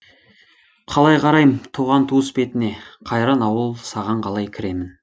қалай қарайым туған туыс бетіне қайран ауыл саған қалай кіремін